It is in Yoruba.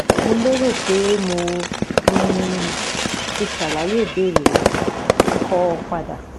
Mo lérò pé mo um tí ṣàlàyé ìbéèrè rẹ, kọ padà